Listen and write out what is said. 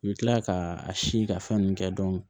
I bɛ tila ka a si ka fɛn ninnu kɛ